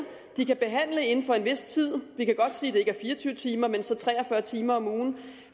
de kan behandle inden for en vis tid og vi kan godt sige det er fire og tyve timer i så tre og fyrre timer om ugen